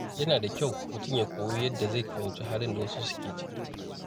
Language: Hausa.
Yana da kyau mutum ya koyi yadda zai fahimci halin da wasu suke ciki.